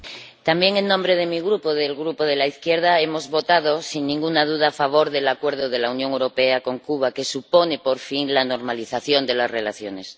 Señora presidenta, también en nombre de mi Grupo —del Grupo de la Izquierda—, hemos votado, sin ninguna duda, a favor del Acuerdo de la Unión Europea con Cuba, que supone, por fin, la normalización de las relaciones.